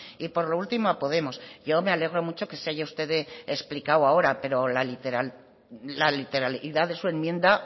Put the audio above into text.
y por lo último a podemos yo me alegro mucho que se haya explicado usted ahora pero la literalidad de su enmienda